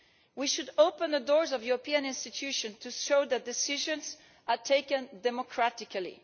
We should open the doors of the European institutions to show that decisions are taken democratically.